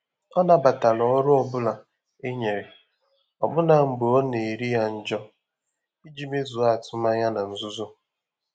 Ọ́ nàbàtàrà ọ́rụ́ ọ́ bụ́lá é nyéré, ọ́bụ́nà mgbè ọ́ nà-érí yá njọ́, ìjí mézùó àtụ́mànyà nà nzùzò.